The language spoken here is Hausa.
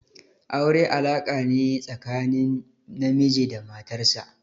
Aure alaka ne tsakanin namiji da matar sa.